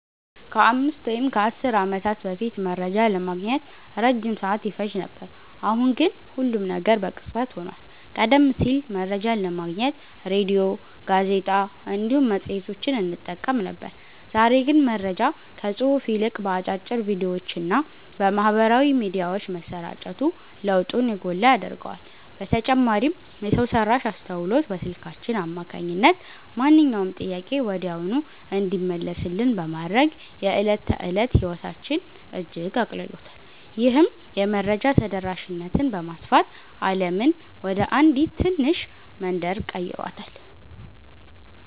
ከአምስት ወይም ከአሥር ዓመታት በፊት መረጃ ለማግኘት ረጅም ሰዓት ይፈጅ ነበር፤ አሁን ግን ሁሉም ነገር በቅጽበት ሆኗል። ቀደም ሲል መረጃን ለማግኘት ሬድዮ፣ ጋዜጣ እንዲሁም መጽሔቶችን እንጠቀም ነበር፤ ዛሬ ግን መረጃ ከጽሑፍ ይልቅ በአጫጭር ቪዲዮዎችና በማኅበራዊ ሚዲያዎች መሰራጨቱ ለውጡን የጎላ ያደርገዋል። በተጨማሪም የሰው ሠራሽ አስተውሎት በስልካችን አማካኝነት ማንኛውንም ጥያቄ ወዲያውኑ እንዲመለስልን በማድረግ የዕለት ተዕለት ሕይወታችንን እጅግ አቅልሎታል። ይህም የመረጃ ተደራሽነትን በማስፋት ዓለምን ወደ አንዲት ትንሽ መንደር ቀይሯታል።"